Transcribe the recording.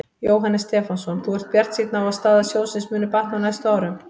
Jóhannes Stefánsson: Þú ert bjartsýnn á að staða sjóðsins muni batna á næstu árum?